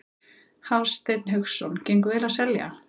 Hafsteinn Hauksson: Gengur vel að selja?